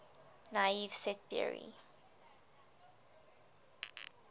naive set theory